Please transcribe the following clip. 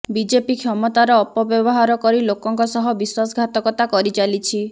BJP କ୍ଷମତାର ଅପବ୍ୟବହାର କରି ଲୋକଙ୍କ ସହ ବିଶ୍ୱାସଘାତକତା କରିଚାଲିଛି